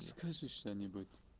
скажи что-нибудь